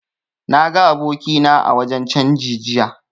Na ga abokina a wajen canji jiya